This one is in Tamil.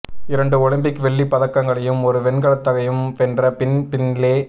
இரண்டு ஒலிம்பிக் வெள்ளி பதக்கங்களையும் ஒரு வெண்கலத்தையும் வென்ற பின் பின்லே